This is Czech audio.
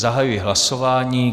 Zahajuji hlasování.